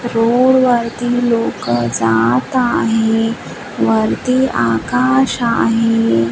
रोडवरती लोक जात आहेत वरती आकाश आहे.